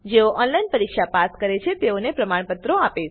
જેઓ ઓનલાઈન પરીક્ષા પાસ કરે છે તેઓને પ્રમાણપત્રો આપે છે